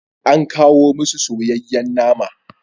An kawo musu soyayyen nama.